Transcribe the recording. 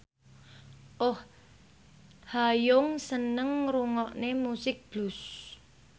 Oh Ha Young seneng ngrungokne musik blues